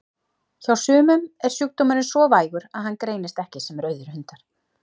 Hjá sumum er sjúkdómurinn svo vægur að hann greinist ekki sem rauðir hundar.